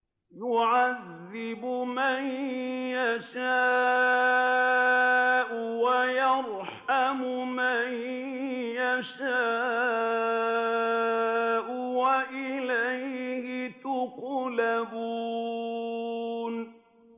يُعَذِّبُ مَن يَشَاءُ وَيَرْحَمُ مَن يَشَاءُ ۖ وَإِلَيْهِ تُقْلَبُونَ